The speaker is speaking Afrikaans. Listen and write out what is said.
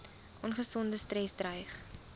ongesonde stres dreig